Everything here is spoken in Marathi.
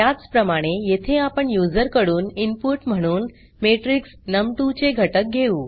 त्याचप्रमाणे येथे आपण यूज़र कडून इनपुट म्हणून मॅट्रिक्स नम2 चे घटक घेऊ